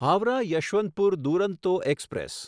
Howrah Yesvantpur Duronto express